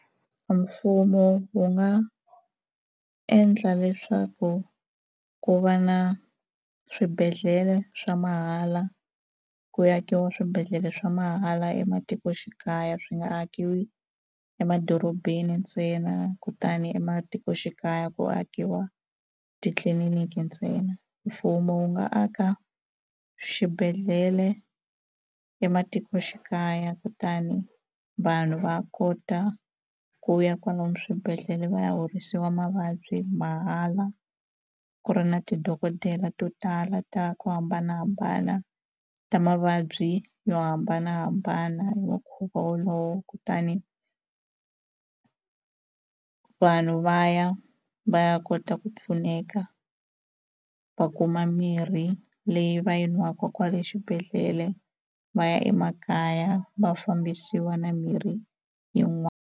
Mfumo wu nga endla leswaku ku va na swibedhlele swa mahala ku akiwa swibedhlele swa mahala ematikoxikaya swi nga akiwi emadorobeni ntsena kutani ematikoxikaya ku akiwa titliliniki ntsena mfumo wu nga aka xibedhlele ematikoxikaya kutani vanhu va kota ku ya kwalomu swibedhlele va ya horisiwa mavabyi mahala ku ri na tidokodela to tala ta ku hambanahambana ta mavabyi yo hambanahambana hi mukhuva wolowo kutani vanhu va ya va ya kota ku pfuneka va kuma mirhi leyi va yi nwaka kwale xibedhlele va ya emakaya va fambisiwa na mirhi .